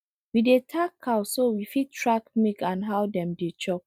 we dey tag cow so we go fit track milk and how dem dey chop